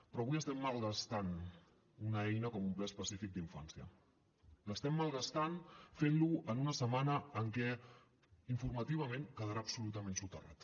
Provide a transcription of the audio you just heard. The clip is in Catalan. però avui estem malgastant una eina com un ple específic d’infància l’estem malgastant fent lo en una setmana en què informativament quedarà absolutament soterrat